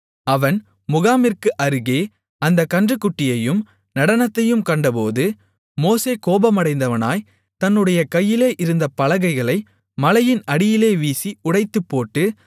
அவன் முகாமிற்கு அருகே அந்தக் கன்றுக்குட்டியையும் நடனத்தையும் கண்டபோது மோசே கோபமடைந்தவனாய் தன்னுடைய கையிலே இருந்த பலகைகளை மலையின் அடியிலே வீசி உடைத்துப்போட்டு